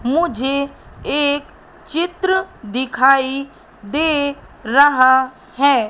मुझे एक चित्र दिखाई दे रहा है।